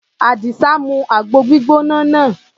Àdìsá mu àgbo gbígbóná náà.